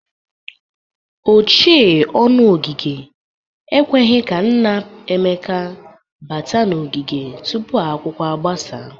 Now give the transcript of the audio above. Ochee ọnụ ogige ekweghi ka nna Emeka bata n'ogige tupu akwụkwọ agbasa.